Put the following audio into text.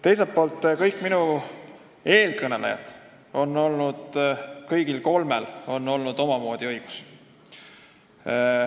Teiselt poolt, kõigil minu eelkõnelejatel, kõigil kolmel oli omamoodi õigus.